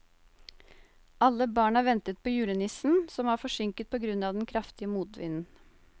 Alle barna ventet på julenissen, som var forsinket på grunn av den kraftige motvinden.